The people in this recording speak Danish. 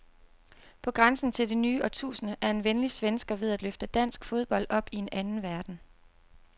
På grænsen til det nye årtusinde er en venlig svensker ved at løfte dansk fodbold op i en anden verden.